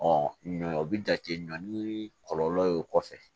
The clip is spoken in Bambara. ɲɔ o bi jate ɲɔn ni kɔlɔlɔ ye o kɔfɛ